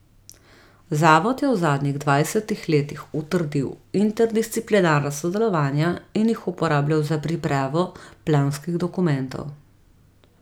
Zavod je v zadnjih dvajsetih letih utrdil interdisciplinarna sodelovanja in jih uporabljal za pripravo planskih dokumentov.